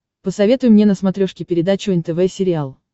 посоветуй мне на смотрешке передачу нтв сериал